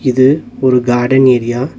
இது ஒரு garden area .